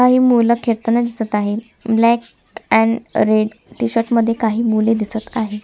काही मूल खेळताना दिसत आहेत ब्लॅक अँड रेड टी-शर्ट मध्ये काही मुले दिसत आहेत.